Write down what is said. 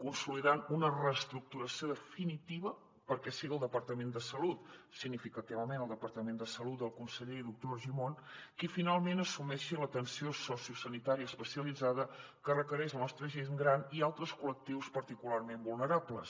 consolidant una reestructuració definitiva perquè sigui el departament de salut significativament el departament de salut del conseller i doctor argimon qui finalment assumeixi l’atenció sociosanitària especialitzada que requereix la nostra gent gran i altres col·lectius particularment vulnerables